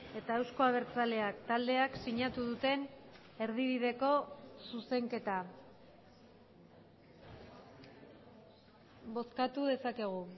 eta euzko abertzaleak taldeak sinatu duten erdibideko zuzenketa bozkatu dezakegu